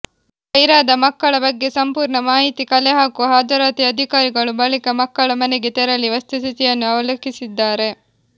ಗೈರಾದ ಮಕ್ಕಳ ಬಗ್ಗೆ ಸಂಪೂರ್ಣ ಮಾಹಿತಿ ಕಲೆಹಾಕುವ ಹಾಜರಾತಿ ಅಧಿಕಾರಿಗಳು ಬಳಿಕ ಮಕ್ಕಳ ಮನೆಗೆ ತೆರಳಿ ವಸ್ತುಸ್ಥಿತಿಯನ್ನು ಅವಲೋಕಿಸಲಿದ್ದಾರೆ